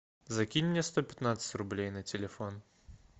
закинь мне сто пятнадцать рублей на телефон